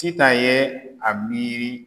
Titan yɛɛ a miiri